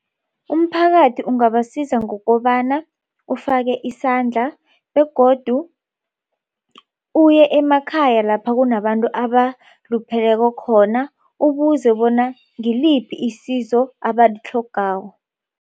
Umphakathi ungabasiza ngokobana ufake isandla begodu uye emakhaya lapha kunabantu abalupheleko khona ubuze bona ngiliphi isizo abalitlhogako.